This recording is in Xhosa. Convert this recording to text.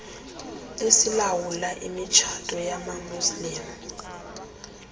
esilawulayo imitshato yamamuslim